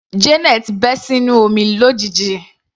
Janet bẹ́ sínú omi lójijì.